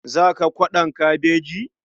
Za ka kwaɗon kabeji?